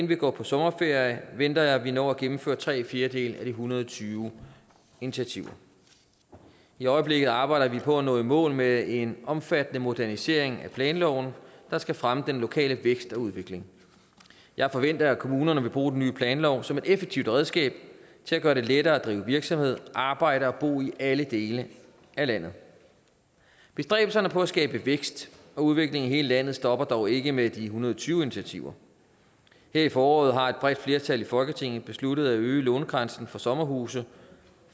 vi går på sommerferie venter jeg vi når at gennemføre tre fjerdedele af de en hundrede og tyve initiativer i øjeblikket arbejder vi på at nå i mål med en omfattende modernisering af planloven der skal fremme den lokale vækst og udvikling jeg forventer at kommunerne vil bruge den nye planlov som et effektivt redskab til at gøre det lettere at drive virksomhed arbejde og bo i alle dele af landet bestræbelserne på at skabe vækst og udvikling i hele landet stopper dog ikke med de en hundrede og tyve initiativer her i foråret har et bredt flertal i folketinget besluttet at øge lånegrænsen for sommerhuse